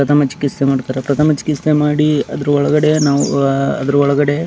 ಪ್ರಥಮ ಚಿಕಿತ್ಸೆ ಮಾಡ್ತಾರೆ ಪ್ರಥಮ ಚಿಕಿತ್ಸೆ ಮಾಡಿ ಅದರೊಳಗಡೆ ನಾವು ಅದರೊಳಗಡೆ --